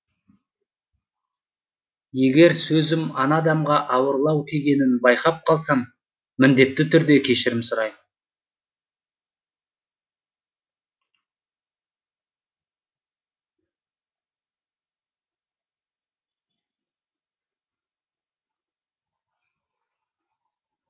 егер сөзім ана адамға ауырлау тигенін байқап қалсам міндетті түрде кешірім сұраймын